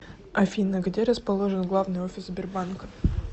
афина где расположен главный офис сбербанка